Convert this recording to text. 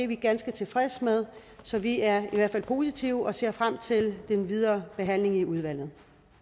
vi ganske tilfreds med så vi er i hvert fald positive og ser frem til den videre behandling i udvalget